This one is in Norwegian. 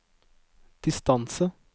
distance